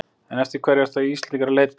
En eftir hverju eru Íslendingar að leita?